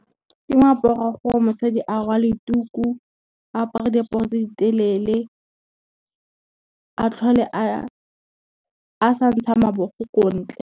Ke moaparo wa gore mosadi a rwale tuku, apare diaparo tse di telele, a tlhole a sa ntsha mabogo ko ntle.